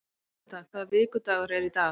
Guðmunda, hvaða vikudagur er í dag?